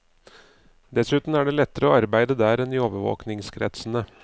Dessuten er det lettere å arbeide der enn i overvåkingskretsene.